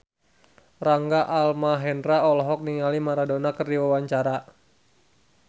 Rangga Almahendra olohok ningali Maradona keur diwawancara